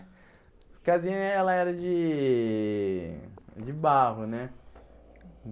Essa casinha ela era de de barro, né?